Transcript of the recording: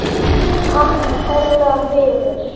Takk kærlega fyrir.